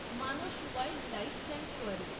Manas wildlife sanctuary